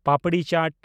papdi ᱪᱟᱴ